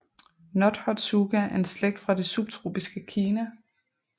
Nothotsuga er en slægt fra det subtropiske Kina